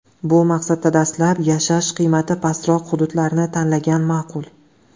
Bu maqsadda dastlab yashash qiymati pastroq hududlarni tanlagan ma’qul.